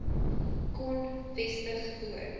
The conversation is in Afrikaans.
kon vestig voor